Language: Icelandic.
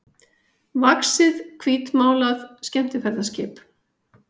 vaxið hvítmálað skemmtiferðaskip.